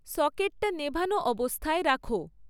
সকেটটা নেভানো অবস্থায় রাখো